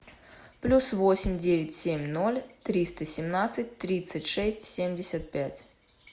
плюс восемь девять семь ноль триста семнадцать тридцать шесть семьдесят пять